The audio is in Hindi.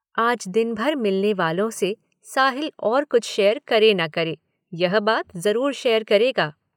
आज दिन भर मिलने वालों से साहिल और कुछ शेयर करे न करे यह बात जरूर शेयर करेगा।